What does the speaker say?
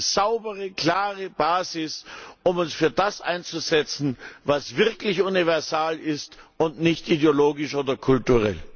Da haben wir eine saubere und klare Basis, um uns für das einzusetzen, was wirklich universal ist und nicht ideologisch oder kulturell.